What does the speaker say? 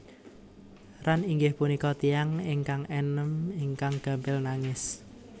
Ran inggih punika tiyang ingkang enem ingkang gampil nangis